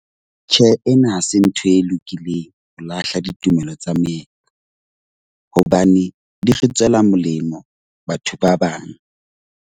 Tjhe, ena ha se ntho e lokileng ho lahla ditumelo tsa moetlo. Hobane di re tswela molemo batho ba bang.